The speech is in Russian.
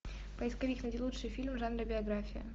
поисковик найди лучший фильм в жанре биография